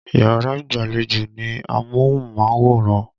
Yàrá ìgbàlejò ní amóhùnmáwòran.